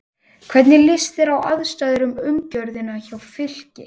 Hvernig líst þér á aðstæður og umgjörðina hjá Fylki?